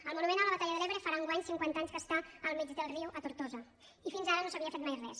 el monument a la batalla de l’ebre farà enguany cinquanta anys que està al mig del riu a tortosa i fins ara no s’havia fet mai res